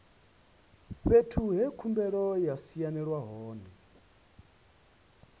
fhethu he khumbelo ya sainelwa hone